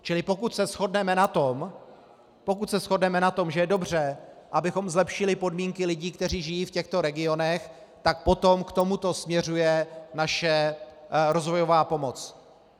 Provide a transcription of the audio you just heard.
Čili pokud se shodneme na tom, že je dobře, abychom zlepšili podmínky lidí, kteří žijí v těchto regionech, tak potom k tomuto směřuje naše rozvojová pomoc.